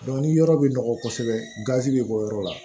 ni yɔrɔ bɛ nɔgɔ kosɛbɛ gazi be bɔ yɔrɔ la